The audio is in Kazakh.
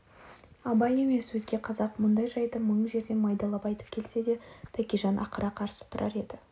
абай емес өзге қазақ мұндай жайды мың жерден майдалап айтып келсе де тәкежан ақыра қарсы тұрар еді